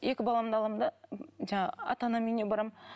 екі баламды аламын да жаңағы ата анамның үйіне барамын